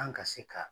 An ka se ka